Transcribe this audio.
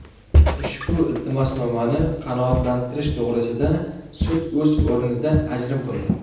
Ushbu iltimosnomani qanoatlantirish to‘g‘risida sud o‘z o‘rnida ajrim qildi.